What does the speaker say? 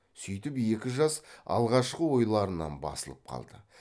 сүйтіп екі жас алғашқы ойларынан басылып қалды